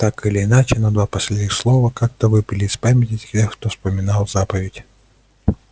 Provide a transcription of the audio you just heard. так или иначе но два последних слова как-то выпали из памяти тех кто вспоминал заповедь